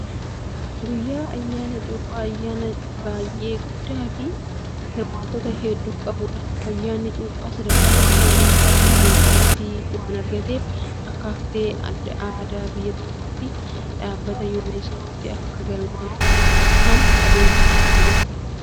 Guyyaan ayyaana cuuphaa ayyaana baayyee guddaa fi hirmaattota hedduu qabudha. Ayyaanni cuuphaa sadarkaa biyyoolessaatti beekamtii waan argateef akka haftee aadaa biyya tokkotti dhaabbata UNESCO tti akka galmaahuuf kan adeemsifamaa jirudha.